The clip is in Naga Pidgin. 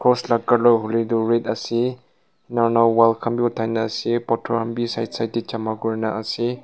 cross laga colour hoiley toh red ase enika kurina wall khan vi othai na ase pathor khan vi side side tae jana kurina ase.